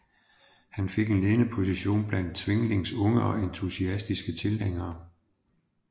Han fik en ledende position blandt Zwinglis unge og entusiastiske tilhængere